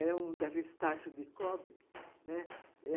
Era um daqueles tachos de cobre, né